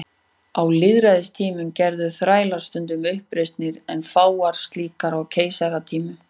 Á lýðveldistímanum gerðu þrælar stundum uppreisnir en fáar slíkar á keisaratímanum.